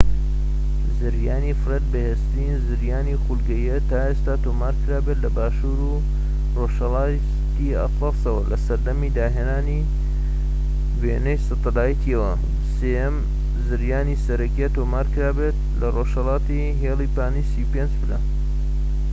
زریانی فرێد بەهێزترین زریانی خولگەییە تا ئێستا تۆمار کرابێت لە باشوور و ڕۆژهەلاتی ئەتلەسەوە لە سەردەمی داهێنانی وێنەی سەتەلایتەوە، سێهەم زریانی سەرەکیە تۆمار کرابێت لە رۆژهەڵاتی هێلی پانی ٣٥ پلە